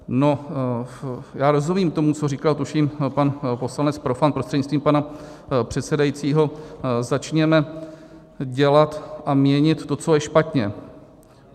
No, já rozumím tomu, co říkal, tuším, pan poslanec Profant prostřednictvím pana předsedajícího, začněme dělat a měnit to, co je špatně.